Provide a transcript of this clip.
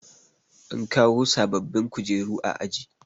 an kawo bababbin kujeru a aji